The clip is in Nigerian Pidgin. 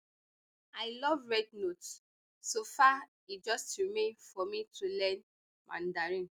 i love rednote so far e just remain for me to learn mandarin